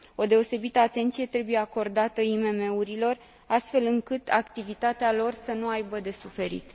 O deosebită atenție trebuie acordată IMM urilor, astfel încât activitatea lor să nu aibă de suferit.